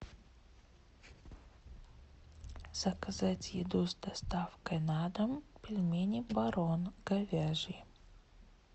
заказать еду с доставкой на дом пельмени барон говяжьи